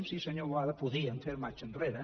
sí senyor boada podíem fer marxa enrere